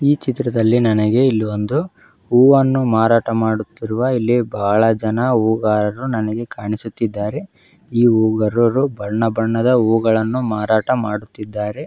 ಈ ಚಿತ್ರದಲ್ಲಿ ನನಗೆ ಇಲ್ಲಿ ಒಂದು ಹೂವನ್ನು ಮಾರಾಟ ಮಾಡುತ್ತಿರುವ ಇಲ್ಲಿ ಬಹಳ ಜನ ಹೂಗಾರರು ನನಗೆ ಕಾಣಿಸುತ್ತಿದ್ದರೆ ಈ ಹೂಗಾರರು ಬಣ್ಣಬಣ್ಣದ ಹೂಗಳನ್ನು ಮಾರಾಟ ಮಾಡುತ್ತಿದ್ದಾರೆ.